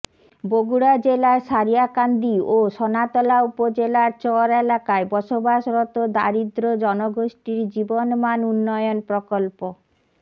বগুড়া জেলার সারিয়াকান্দি ও সোনাতলা উপজেলার চর এলাকায় বসবাসরত দারিদ্র্য জনগোষ্ঠীর জীবনমান উন্নয়ন প্রকল্প